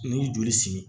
N'i y'i joli simi